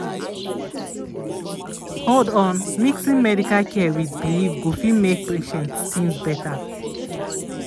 hold on mixin' medical care wit belief go fit make patient tinz beta.